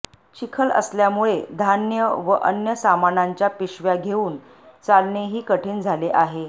चिखल असल्यामुळे धान्य व अन्य सामानांच्या पिशव्या घेऊन चालणेही कठीण झाले आहे